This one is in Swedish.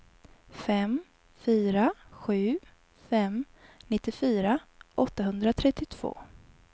fem fyra sju fem nittiofyra åttahundratrettiotvå